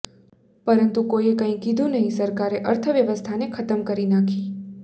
પરંતુ કોઈએ કંઈ કીધું નહીં સરકારે અર્થ વ્યવસ્થઆને ખતમ કરી નાંખી